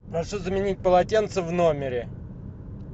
прошу заменить полотенца в номере